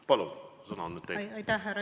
Palun, sõna on nüüd teil!